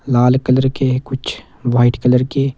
लाल colour के कुछ white colour के--